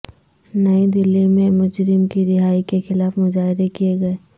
نئی دلی میں مجرم کی رہائی کے خلاف مظاہرے کیے گئے